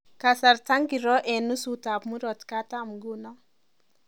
Kasarta ingiro eng nusutab murot katam nguno